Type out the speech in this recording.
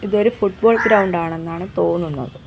ഇത് ഒരു football ground ആണെന്നാണ് തോന്നുന്നത്.